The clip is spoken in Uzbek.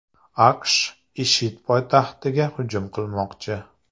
AQSh IShID poytaxtiga hujum qilmoqchi.